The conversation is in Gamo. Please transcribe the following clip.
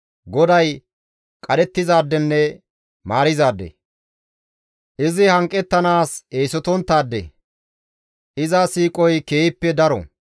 GODAY qadhettizaadenne maarizaade; izi hanqettanaas eesotonttaade; iza siiqoy keehippe daro.